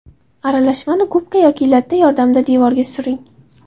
Aralashmani gubka yoki latta yordamida devorga suring.